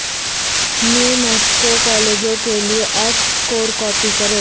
new Mexico کالجوں کے لئے ایکٹ سکور کاپی کریں